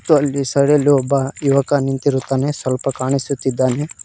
ಮತ್ತು ಅಲ್ಲಿ ಸೈಡ್ ಅಲ್ಲಿ ಒಬ್ಬ ಯುವಕ ನಿಂತಿರುತ್ತಾನೆ ಸ್ವಲ್ಪ ಕಾಣಿಸುತ್ತಿದ್ದಾನೆ.